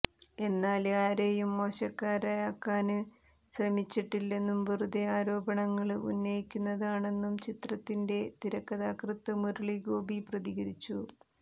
എന്നാല് ആരേയും മോശക്കാരാക്കാന് ശ്രമിച്ചിട്ടില്ലെന്നും വെറുതെ ആരോപണങ്ങള് ഉന്നയിക്കുന്നതാണെന്നും ചിത്രത്തിന്റെ തിരക്കഥാകൃത്ത് മുരളീ ഗോപി പ്രതികരിച്ചു